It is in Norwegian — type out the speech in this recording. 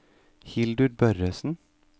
Hildur Børresen